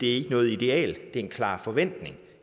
er noget ideal men en klar forventning